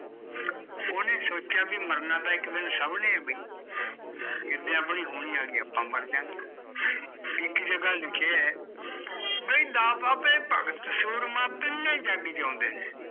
ਓਹਨੇ ਸੋਚਿਆ ਵੀ ਮਰਨਾ ਤਾਂ ਇੱਕ ਦਿਨ ਸਭ ਨੇ ਬਈ ਜਿਦੇ ਆਪਣੀ ਹੋਣੀ ਆ ਗਈ ਆਪਾਂ ਮਰਜਾਂਗੇ ਇੱਕ ਜਗਾ ਲਿਖਿਆ ਐ ਬਈ ਦਾਤਾ ਤੇ ਭਗਤ ਸੂਰਮਾ ਤਿੰਨੇ ਹੀਂ ਜੱਗ ਜਿਉਂਦੇ ਨੇ